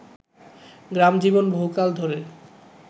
গ্রামজীবন বহুকাল ধরে